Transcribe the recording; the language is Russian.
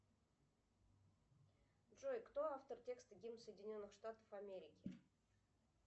джой кто автор текста гимн соединенных штатов америки